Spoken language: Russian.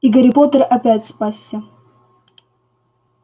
и гарри поттер опять спасся